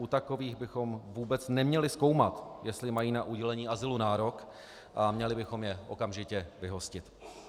U takových bychom vůbec neměli zkoumat, jestli mají na udělení azylu nárok, a měli bychom je okamžitě vyhostit.